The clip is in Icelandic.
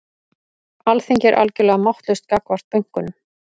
Alþingi er algjörlega máttlaust gagnvart bönkunum